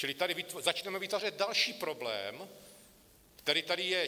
Čili tady začneme vytvářet další problém, který tady je.